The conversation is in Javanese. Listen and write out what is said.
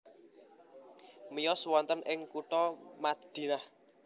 Miyos wonten ing kutha Madinah